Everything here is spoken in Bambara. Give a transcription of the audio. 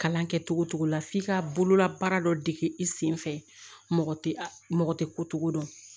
Kalan kɛ togo togo la f'i ka bolola baara dɔ dege i senfɛ mɔgɔ tɛ mɔgɔ tɛ ko cogo dɔn